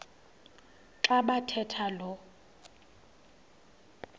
xa bathetha lo